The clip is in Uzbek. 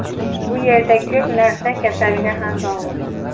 Bu yerda ko‘p narsa kasalga ham bog‘liq.